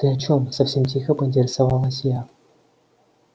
ты о чём совсем тихо поинтересовалась я